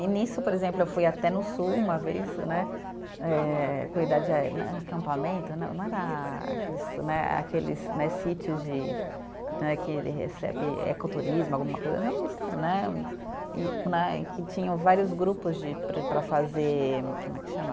E nisso, por exemplo, eu fui até no sul uma vez né, eh cuidar de a eh, acampamento, não, não era aqueles né, aqueles né sítios de né que ele recebe ecoturismo, alguma coisa né, um e né, e que tinham vários grupos para fazer, como é que chama?